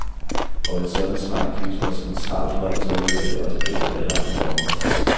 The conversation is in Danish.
Og et sådant svar gives fra centralt hold, således at det også gælder for alle andre borgere.